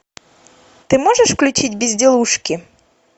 ты можешь включить безделушки